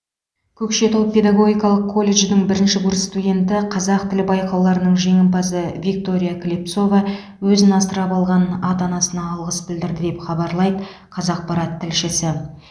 көкшетау педагогикалық колледжінің бірінші курс студенті қазақ тілі байқауларының жеңімпазы виктория клепцова өзін асырап алған ата анасына алғыс білдірді деп хабарлайды қазақпарат тілшісі